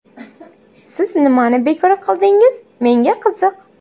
Siz nimani bekor qildingiz, menga qiziq?